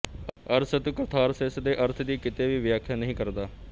ਅਰਸਤੂ catharsis ਦੇ ਅਰਥ ਦੀ ਕਿਤੇ ਵੀ ਵਿਆਖਿਆ ਨਹੀਂ ਕਰਦਾ